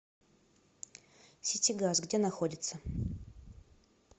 ситигаз где находится